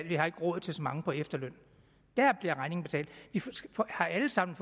vi har ikke råd til så mange på efterløn dér bliver regningen betalt vi har alle sammen